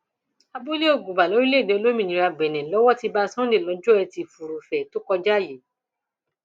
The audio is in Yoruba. abúlé ọgùbà lórílẹèdè olómìnira benin lọwọ ti bá cs] sunday lọjọ etí furuufee tó kọjá yìí